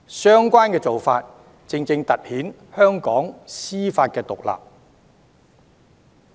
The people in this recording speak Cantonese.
相關的做法，正正突顯了香港的司法獨立。